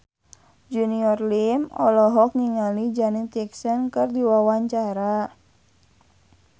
Junior Liem olohok ningali Janet Jackson keur diwawancara